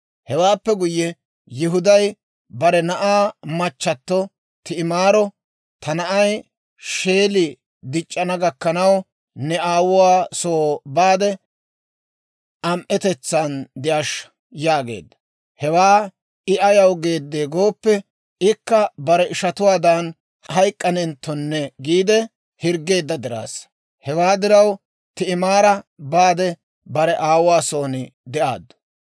Hewaappe guyye, Yihuday bare na'aa machchato Ti'imaaro, «Ta na'ay Sheeli dic'c'ana gakkanaw ne aawuwaa soo baade, am"etetsaan de'ashsha» yaageedda. Hewaa I ayaw geedde gooppe, ikka bare ishatuwaadan hayk'k'anenttonne giide hirggeedda diraassa. Hewaa diraw Ti'imaara baade bare aawuwaa soon de'aaddu.